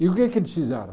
E o que é que eles fizeram?